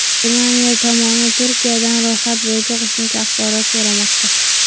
Germaniya tomoni Turkiyadan ro‘yxat bo‘yicha qo‘shimcha axborot so‘ramoqda.